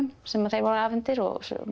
sem þeim voru afhentir og